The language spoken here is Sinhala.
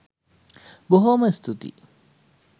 බොහෝම ස්තුතියි.